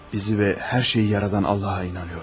Bizi və hər şeyi yaradan Allaha inanıram.